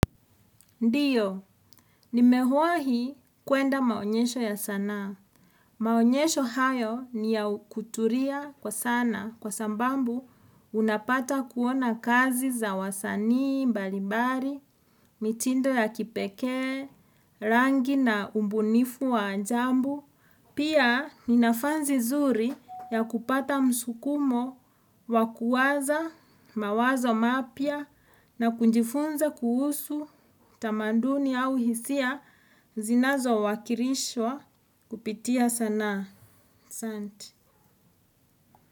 Ndiyo, nimewahi kwenda maonyesho ya sanaa. Maonyesho hayo ni ya kutulia kwa sana kwa sababu unapata kuona kazi za wasanii, mbalimbali, mitindo ya kipekee, rangi na ubunifu wa ajabu. Pia ni nafasi zuri ya kupata msukumo wa kuwaza mawazo mapya na kujifunza kuhusu tamaduni au hisia zinazo wakirishwa kupitia sanaa asanti.